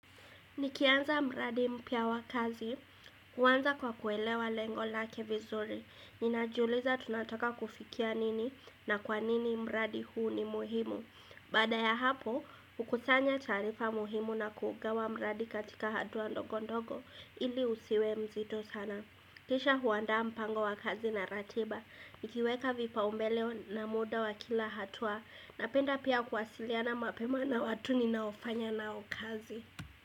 Nikianza mradi mpya wa kazi, uanza kwa kuelewa lengo lake vizuri. Ninajuliza tunataka kufikia nini na kwa nini mradi huu ni muhimu. Baada ya hapo, hukusanya taarifa muhimu na kuugawa mradi katika hatuwa ndogo ndogo ili usiwe mzito sana. Kisha huandaa mpango wa kazi na ratiba. Nikiweka vipaumbeleo na muda wa kila hatua. Napenda pia kuwasiliana mapema na watu ninaofanya nao kazi.